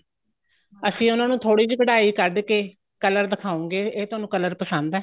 ਅਸੀਂ ਉਹਨਾ ਨੂੰ ਥੋੜੀ ਜੀ ਕਢਾਈ ਕੱਢ ਕੇ color ਦਿਖਾਉਗੇ ਇਹ ਤੁਹਾਨੂੰ color ਪਸੰਦ ਏ